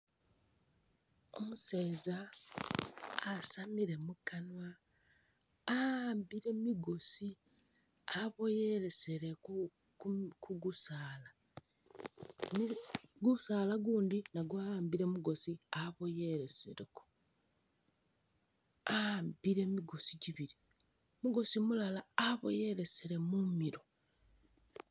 Umuseza asamile mukanwa wawambile migoosi aboyelesele ku kugusaala, gusaala gundi nagwo wawambile migoosi aboyeleseleko wawambile migoosi gibili, mugoosi mulala aboyelesele mumilo